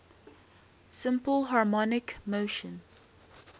simple harmonic motion